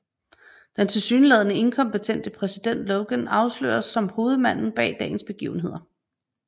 Den tilsyneladende inkompetente præsident Logan afsløres som hovedmanden bag dagens begivenheder